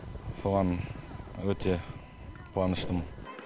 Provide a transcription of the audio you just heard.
соған өте қуаныштымын